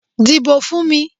Díbó fún mi.